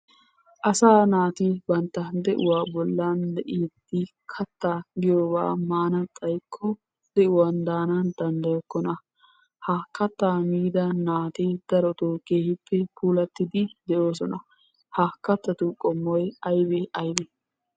Asaa naati bantta de'uwa bollan de'iiddi katta giyoba maana xaykko de'uwan daana danddayokkona. Ha kattaa miida naati darotoo keehippe puulattidi de'oosona. Ha kattatu qommoy aybee aybee?